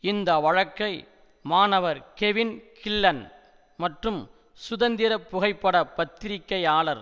இந்த வழக்கை மாணவர் கெவின் கில்லன் மற்றும் சுதந்திர புகைப்பட பத்திரிகையாளர்